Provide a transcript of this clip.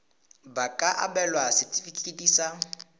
ba ka abelwa setefikeiti sa